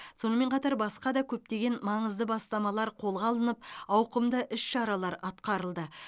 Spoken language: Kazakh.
сонымен қатар басқа да көптеген маңызды бастамалар қолға алынып ауқымды іс шаралар атқарылды